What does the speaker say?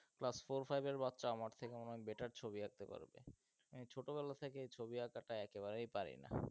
class four five এর বাচ্চা আমার থেকে অনেক better ছবি আঁকতে পারবে, ছোটবেলা থেকেই ছবি আঁকাটা একেবারেই পারিনা,